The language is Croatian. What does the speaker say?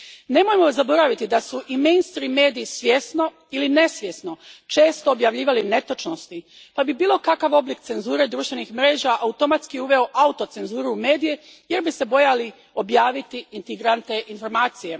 Nemojmo zaboraviti da su i mainstream mediji, svjesno ili nesvjesno, često objavljivali netočnosti, pa bi bilo kakav oblik cenzure društvenih mreža automatski uveo autocenzuru u medije, jer bi se bojali objaviti intrigantne informacije.